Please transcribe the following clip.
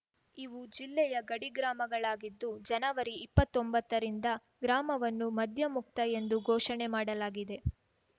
ಇವು ಜಿಲ್ಲೆಯ ಗಡಿಗ್ರಾಮಗಳಾಗಿದ್ದು ಜನವರಿಇಪ್ಪತ್ತೊಂಬತ್ತರಿಂದ ಗ್ರಾಮವನ್ನು ಮದ್ಯಮುಕ್ತ ಎಂದು ಘೋಷಣೆ ಮಾಡಲಾಗಿದೆ